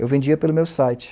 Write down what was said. Eu vendia pelo meu site.